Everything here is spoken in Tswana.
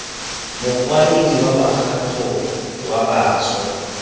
mokwaledi wa mokgatlho wa bašwa